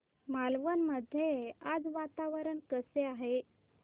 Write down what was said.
मालवण मध्ये आज वातावरण कसे आहे